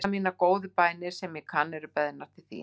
allar mínar góðu bænir, sem ég kann, eru beðnar til þín.